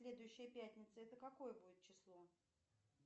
следующая пятница это какое будет число